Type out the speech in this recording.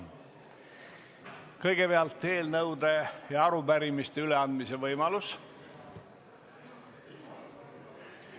Kõigepealt on eelnõude ja arupärimiste üleandmise võimalus.